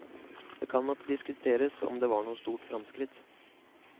Det kan nok diskuteres om det var noe stort fremskritt.